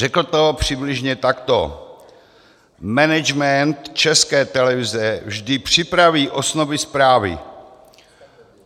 Řekl to přibližně takto: Management České televize vždy připraví osnovy zprávy.